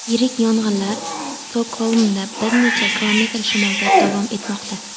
Yirik yong‘inlar Stokgolmdan bir necha kilometr shimolda davom etmoqda.